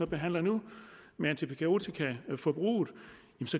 behandler nu med antibiotikaforbruget